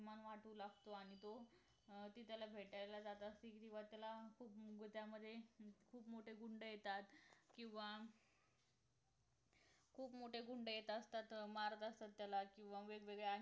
अजुनच जास्ती अभिमान वाटु लागतो आणि तो त्याला भेटायला जात असते तेव्हा त्याला खूप गोच्यामध्ये खुप मोठे गुंड येतात किंवा खूप मोठे गुंड येत असतात मारत असतात त्याला किंवा वेगवेगळ्या